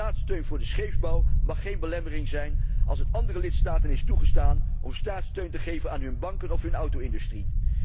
Staatssteun voor de scheepsbouw mag geen belemmering zijn als het andere lidstaten is toegestaan om staatssteun te geven aan hun banken of hun auto industrie.